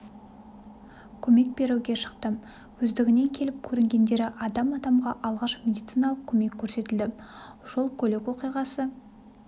көмек беруге шықты өздігінен келіп көрінгендері адам адамға алғашқы медициналық көмек көрсетілді жол көлік оқиғасы